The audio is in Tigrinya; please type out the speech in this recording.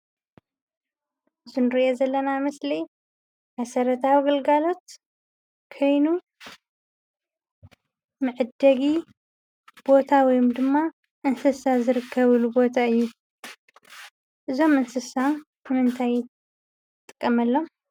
እዙይ እንርእዮ ዘለና ምስሊ መሰረታዊ ግልጋሎት ኮይኑ መዐደጊ ቦታ ወይም ድማ እንስሳ ዝርከቡሉ ቦታ እዩ። እዞም እንስሳ ንምንታይ ንጥቀመሎም?